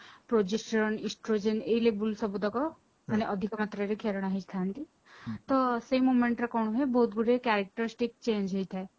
progesterone estrogen ଏଇ level ସବୁତକ ମାନେ ଅଧିକ ମାତ୍ରାରେ କ୍ଷେରଣ ହେଇ ଥାନ୍ତି ତ ସେଇ momentରେ କଣ ହୁଏ ବହୁତ ଗୁଡିଏ characteristics change ହେଇଥାଏ